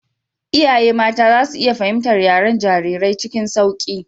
Iyaye mata za su iya fahimtar yaren jarirai cikin sauƙi.